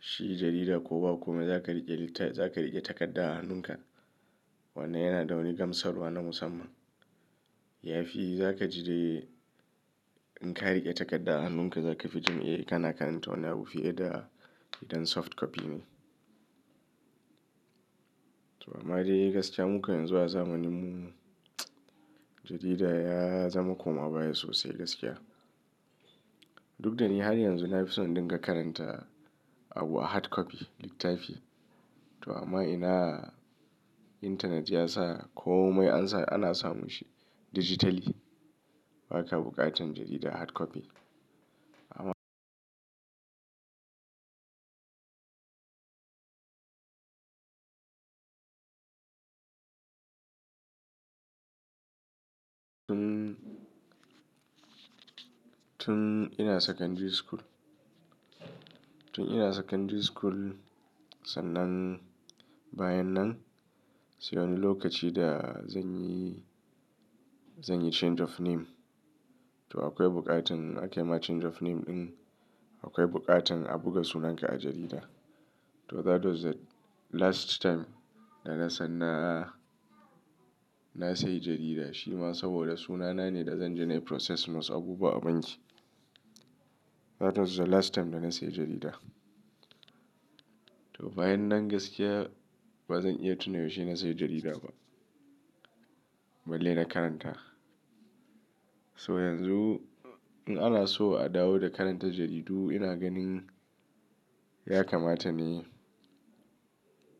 shi jarida ko ba komai za ka riƙe ta, za ka riƙe takarda a hannunka wanda yana da wani gamsarwa na musamman. Yafi za ka jide in ka riƙe takarda a hannunka, za ka fi jin eh kana karanta wani abu fiye da idan soft copy ne. To amma dai gaskiya mukan yanzu a zamaninmu jarida ya zama koma baya sosai gaskiya. Duk da ni har yanzu na fi son dinga karanta abu a hard copy, littafi. To amma ina intanet ya sa komai an sa ana samun shi digitally. Ba ka buƙatar jarida hard copy. Amma tun, tun ina secondary school, tun ina secondary school, sannan bayan nan sai wani lokaci da zan yi, zan yi change of name. To akwai buƙatar ake ma change of name in akwai buƙatar a buga sunanka a jarida. To that was the last time da na sanna a, na sayi jarida. Shi ma saboda sunana ne da zan je nayi process wasu abubuwa a banki. That was the last time da na sayi jarida. To bayan nan gaskiya ba zan iya tuna yaushe na sayi jarida ba, balle na karanta. So yanzu in ana so a dawo da karantar jaridu ina ganin ya kamata ne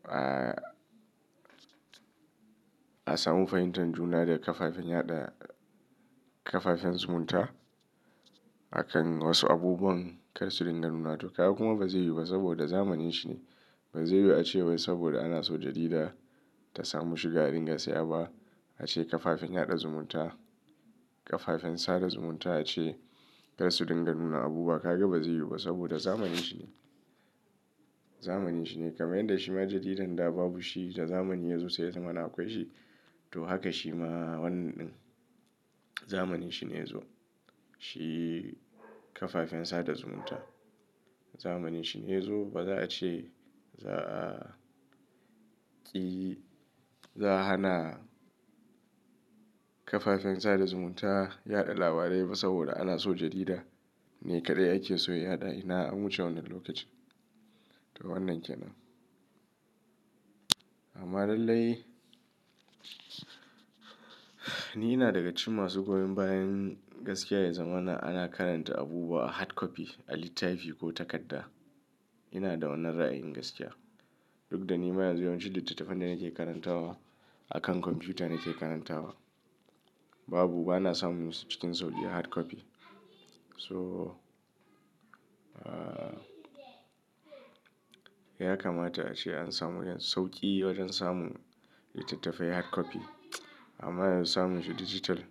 a, a samu fahimtar juna da kafafen yaɗa, kafafen zumunta a kan wasu abubuwan kar su ringa nuna. To kagan kuma ba zai yiwu ba saboda zamanin shi ne. Ba zai yiwu a ce wai saboda ana so jarida ta samu shiga ɗinga sayaba a ce kafafen yaɗa zumunta, kafafen sada zumunta a ce kar su ringa nuna abu. Ba, ka ga ba zai yiwu ba saboda zamanin shi ne. Zamanin shi ne. Kama in da shima jaridan da babu shi da zamani ya zo sai ya zama na akwai shi. To haka shi ma wannan. Zamanin shi ne yazo. Shi kafafen sada zumunta. Zamanin shi ne yazo. Ba za a ce za a ƙi, za a hana kafafen sada zumunta yaɗa labarai ba saboda ana so jarida ne kaɗai ake so ya yaɗa. Ina, an wuce wannan lokacin. To wannan kenan. Amma lallai ni ina daga cikin masu goyon bayan gaskiya ya zama na ana karanta abubuwa a hard copy, a littafi ko takarda. Ina da wannan ra'ayin gaskiya. Duk da ni ma yanzu yawancin littattafan da nake karantawa akan kwamfuta nake karantawa. Babu, ba na samun su cikin sauki a hard copy. To, ah, ya kamata a ce an samu wajen sauki wajen samu littattafai hard copy. Amma yanzu samun shi digital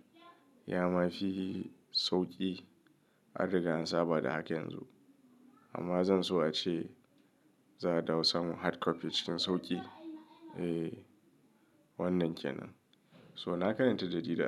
ya mafi sauki addu'da an saba da haka yanzu. Amma zan so a ce za'a dawo samu hard copy cikin sauki. Eh, wannan kenan. So na karanta jarida.